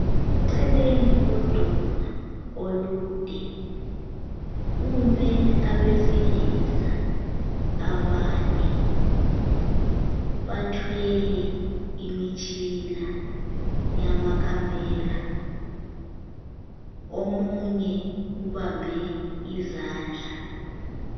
Eceleni kodonga olude ,kume abesilisa abane ,bathwele imitshina yama camera ,omunye ubambe izandla